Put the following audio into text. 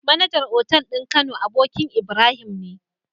MAnager otal din kano abokin Ibrahim ne